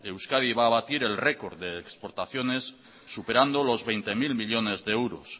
euskadi va a batir el record de exportaciones superando los veinte mil millónes de euros